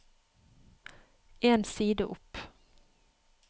En side opp